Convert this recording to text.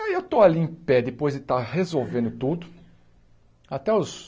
Aí eu estou ali em pé, depois de estar resolvendo tudo, até os...